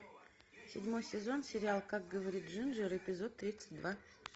седьмой сезон сериал как говорит джинджер эпизод тридцать два